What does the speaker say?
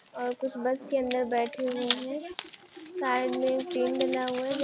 और कुछ बस के अंदर बैठे हुए है साइड मे टेंट डाला हुआ है।